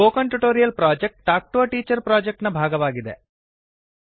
spoken tutorial project talk to a teacher project ನ ಭಾಗವಾಗಿದೆ